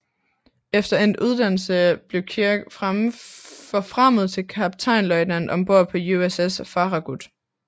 Efter endt uddannelse blev Kirk forfremmet til kaptajnløjtnant ombord på USS Farragut